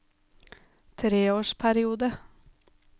treårsperiode